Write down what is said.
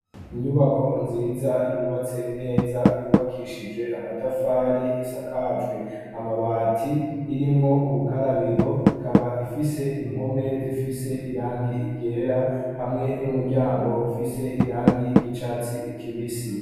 inyubako nziza yubatse neza yubakishijwe amatafari isakajwe amabati irimwo ubukarabiro ikaba ifise impome zifise irangi ryera hamwe n'umuryango ufise irangi ry'icatsi kibisi